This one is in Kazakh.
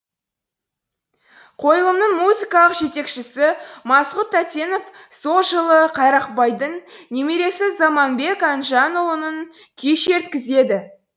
қойылымның музыкалық жетекшісі масғұт татенов сол жолы қайрақбайдың немересі заманбек әнжанұлына күй шерткізеді